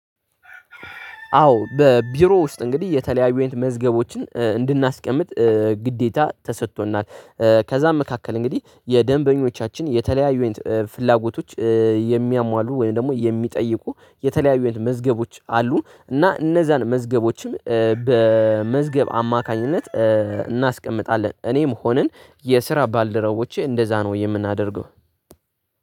አዎ በቢሮ ውስጥ እንግዲህ የተለያዩ ኢንት መዝገቦችን ግዴታ ተሰጥቶናል። ከዛም መካከል እንግዲህ የደንበኞቻችን የተለያዩ ፍላጎቶች የሚያሟሉ ወይም ደግሞ የሚጠይቁ የተለያዩ አንትን መዝገቦች አሉን። እና እነዛን መዝገቦችም በመዝገብ አማካኝነት እናስቀምጣለን እኔም ሆነን የስራ ባልደረቦቼ እንደዛ ነው የምናደርገው